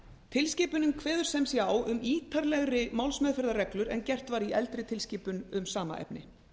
tilskipunin kveður sem sé á um ítarlegri málsmeðferðarreglur en gert var í eldri tilskipun um sama efni